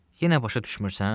Yenə başa düşmürsən?